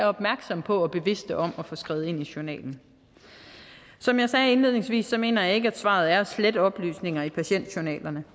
opmærksomme på og bevidste om at få skrevet det ind i journalen som jeg sagde indledningsvis mener jeg ikke at svaret er at slette oplysninger i patientjournalerne